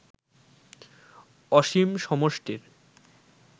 অসীম সমষ্টির